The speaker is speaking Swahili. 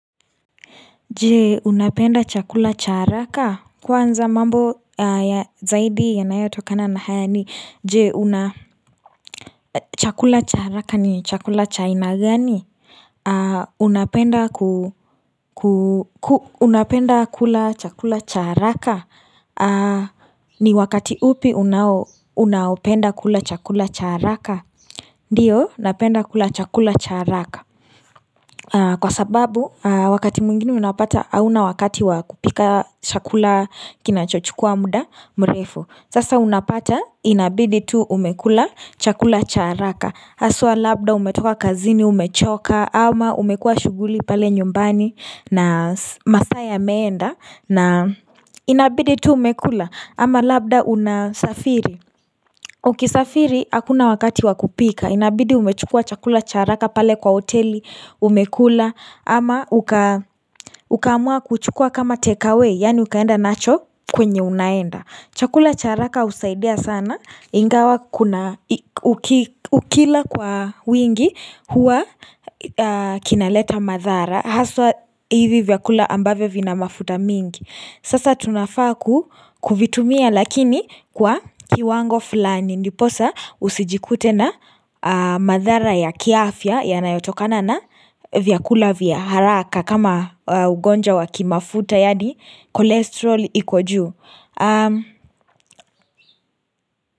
Je unapenda chakula cha haraka kwanza mambo zaidi yanayo tokana na haya ni je una chakula cha haraka ni chakula cha aina gani unapenda kula chakula cha haraka ni wakati upi unaopenda kula chakula cha haraka Ndiyo, napenda kula chakula cha haraka. Kwa sababu, wakati mwingine unapata, hauna wakati wakupika chakula kinachochukua muda mrefu. Sasa unapata, inabidi tu umekula chakula charaka. Haswa labda umetoka kazini, umechoka, ama umekua shughuli pale nyumbani na masaa yameenda. Na inabidi tu umekula ama labda unasafiri Ukisafiri hakuna wakati wakupika Inabidi umechukua chakula cha haraka pale kwa hoteli umekula Ama uka amua kuchukua kama take away Yaani ukaenda nacho kwenye unaenda Chakula cha haraka husaidia sana Ingawa ukila kwa wingi hua kinaleta madhara Haswa hivi vyakula ambavyo vina mafuta mingi Sasa tunafaa kukuvitumia lakini kwa kiwango fulani ndiposa usijikute na madhara ya kiafya yanayotokana na vyakula vyaharaka kama ugonjwa waki mafuta yaani cholesterol iko juu.